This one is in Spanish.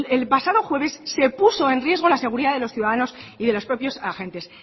el pasado jueves se puso en riesgo la seguridad de los ciudadanos y de los propios agentes